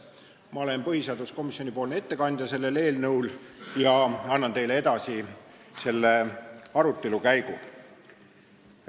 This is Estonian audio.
Ma olen selle eelnõu arutelul põhiseaduskomisjoni ettekandja ja annan teile edasi komisjoni arutelu käigu.